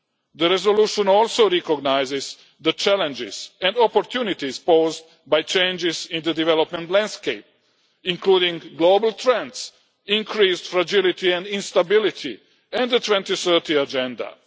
The resolution also recognises the challenges and opportunities posed by changes in the development landscape, including global trends, increased fragility and instability, and the 2030 Agenda.